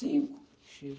Cinco, chega.